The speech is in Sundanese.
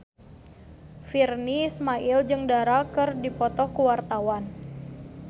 Virnie Ismail jeung Dara keur dipoto ku wartawan